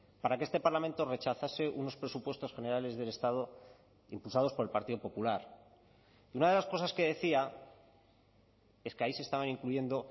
para que este parlamento rechazase unos presupuestos generales del estado impulsados por el partido popular y una de las cosas que decía es que ahí se estaban incluyendo